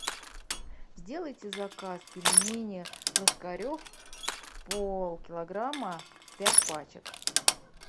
сделайте заказ пельмени ложкарев полкилограмма пять пачек